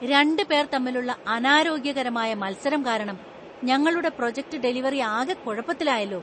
രണ്ട് പേര്‍ തമ്മിലുള്ള അനാരോഗ്യകരമായ മത്സരം കാരണം ഞങ്ങളുടെ പ്രോജക്ട് ഡെലിവറി ആകെ കുഴപ്പത്തിലായല്ലോ.